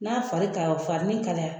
N'a fari ka farinniN kalaya